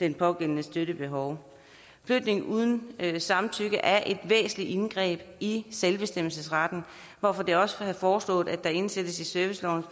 den pågældendes støttebehov flytning uden samtykke er et væsentlig indgreb i selvbestemmelsesretten hvorfor det også er blevet foreslået at det indsættes i servicelovens